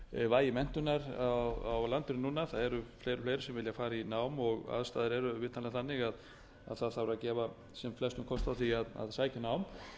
vægi menntunar á landinu núna það eru fleiri og fleiri sem vilja fara í nám og aðstæður eru vitanlega þannig að það þarf að gefa sem flestum kost á því að sækja nám